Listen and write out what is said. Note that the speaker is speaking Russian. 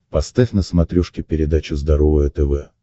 поставь на смотрешке передачу здоровое тв